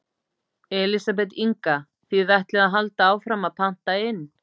Elísabet Inga: Þið ætlið að halda áfram að panta inn?